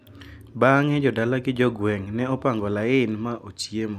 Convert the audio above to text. Bang`e jodala gi jogweng` ne opango lain ma ochiemo.